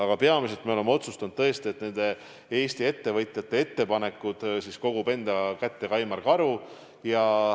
Aga peamiselt me oleme otsustanud, tõesti, et Eesti ettevõtjate ettepanekud kogub enda kätte Kaimar Karu.